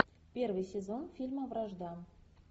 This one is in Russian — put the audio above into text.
первый сезон фильма вражда